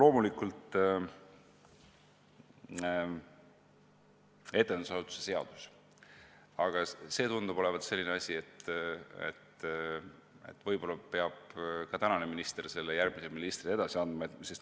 Loomulikult etendusasutuse seadus – see tundub olevat selline asi, et võib-olla peab praegune minister selle järgmisele ministrile edasi andma.